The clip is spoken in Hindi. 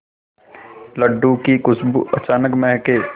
लड्डू की खुशबू अचानक महके